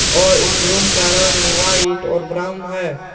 और इस रूम का रंग व्हाइट और ब्राउन है।